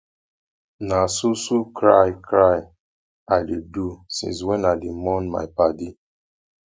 na so so cry cry i dey do since wey i dey mourn my paddy